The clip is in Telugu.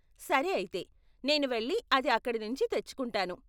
సరే అయితే, నేను వెళ్లి అది అక్కడ నుంచి తెచ్చుకుంటాను.